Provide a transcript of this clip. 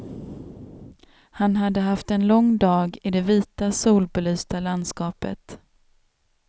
Han hade haft en lång dag i det vita, solbelysta landskapet.